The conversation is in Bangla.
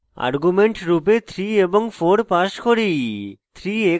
arguments রূপে 3 এবং 4 pass করি